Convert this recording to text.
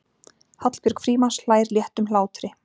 Hallbjörg Frímanns hlær léttum hlátri.